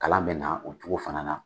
Kalan bɛ na o cogo fana na.